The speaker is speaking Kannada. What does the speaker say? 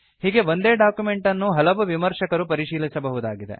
ಹೀಗೆ ಒಂದೇ ಡಾಕ್ಯುಮೆಂಟ್ ಅನ್ನು ಹಲವು ವಿಮರ್ಶಕರು ಪರಿಶೀಲಿಸಬಹುದಾಗಿದೆ